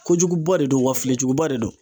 Kojuguba de don wa filijuguba de don.